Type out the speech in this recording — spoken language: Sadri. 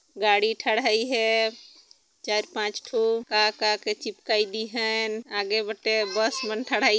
गाडी ठडाई है चार पाँच ठो का का के चिपकाई दी हेन आगे बटे बस मन ठडाई--